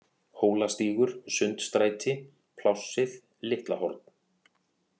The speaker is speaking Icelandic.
Hólastígur, Sundstræti, Plássið, Litla-Horn